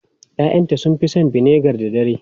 Ya'yanta sun fi son vinegar da dare.